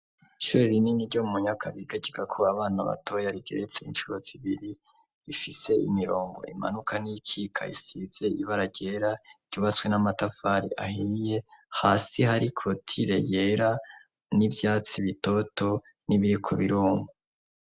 Ishure rinini ryo mu munyaka bigakigakua abana batoya rigeretse incuruz ibiri ifise imirongo imanuka n'ikikayisize ibara ryera iryubatswe n'amatafari ahiye hasi hari kotile yera n'ivyatsi bitoto n'ibiri ku birumko.